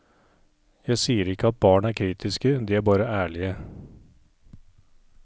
Jeg sier ikke at barn er kritiske, de er bare ærlige.